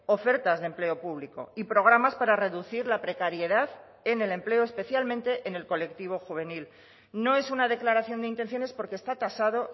ofertas de empleo público y programas para reducir la precariedad en el empleo especialmente en el colectivo juvenil no es una declaración de intenciones porque está tasado